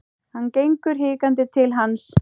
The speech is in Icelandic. Hann gengur hikandi til hans.